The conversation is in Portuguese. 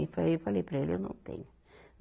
E eu falei, eu falei para ele, eu não tenho.